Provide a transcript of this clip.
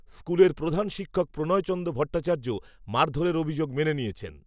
স্কুলের প্রধান শিক্ষক প্রণয়চন্দ্র ভট্টাচার্য মারধরের অভিযোগ মেনে নিয়েছেন